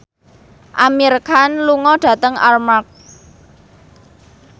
Amir Khan lunga dhateng Armargh